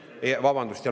Vabandust!